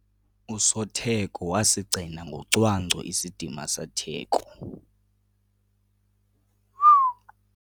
Usotheko wasigcina ngocwangco isidima setheko.